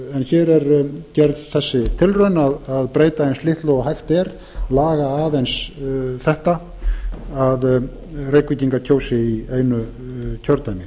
hér er gerð sú tilraun að breyta eins litlu og hægt er laga aðeins það að reykvíkingar kjósi í einu kjördæmi